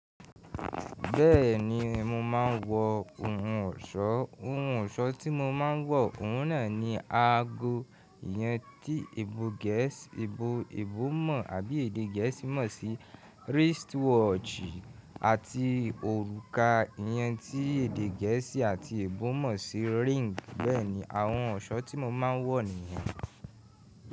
Bẹ́ẹ̀ni mo máa ń wọ ohun ọ̀ṣọ́, ohun ọ̀ṣọ́ tí mo máa ń wọ òun náà ni aago ìyẹn tí èbó Gẹ̀ẹ́sì, èbó, èbó mọ̀ àbí èdè Gẹ̀ẹ́sì mọ̀ sí wristwatch àti òrùka ìyẹn tí èdè Gẹ̀ẹ́sì àti èbó mọ̀ sí ring. Bẹ́ẹ̀ni àwọn ọ̀ṣọ́ tí mo máa ń wọ nìyẹn.